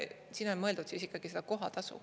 Siin on mõeldud siis ikkagi seda kohatasu.